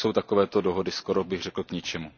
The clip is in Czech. Pak jsou takovéto dohody skoro bych řekl k ničemu.